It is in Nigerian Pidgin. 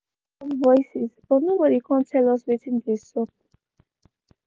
we bin hear loud voices but nobody kom tell us wetin dey sup